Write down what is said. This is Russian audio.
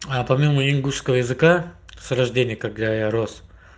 а помимо ингушского языка с рождения когда я рос